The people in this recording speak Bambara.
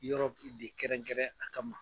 Yɔrɔ pli de kɛrɛn kɛrɛn a ka ma